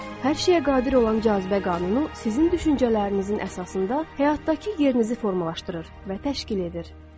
Hər şeyə qadir olan cazibə qanunu sizin düşüncələrinizin əsasında həyatdakı yerinizi formalaşdırır və təşkil edir.